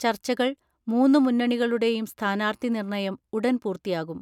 ചർച്ചകൾ മൂന്നുമുന്നണികളുടെയും സ്ഥാനാർത്ഥി നിർണ്ണയം ഉടൻ പൂർത്തിയാകും.